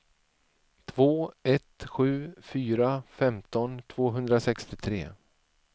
två ett sju fyra femton tvåhundrasextiotre